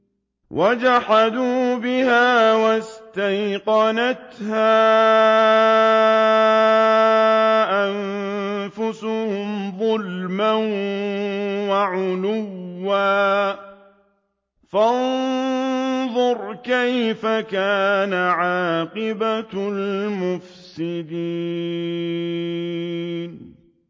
وَجَحَدُوا بِهَا وَاسْتَيْقَنَتْهَا أَنفُسُهُمْ ظُلْمًا وَعُلُوًّا ۚ فَانظُرْ كَيْفَ كَانَ عَاقِبَةُ الْمُفْسِدِينَ